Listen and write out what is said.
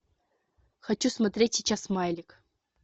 хочу смотреть сейчас смайлик